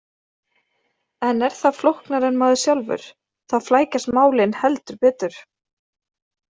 En er það flóknara en maðurinn sjálfur? Þá flækjast málin heldur betur.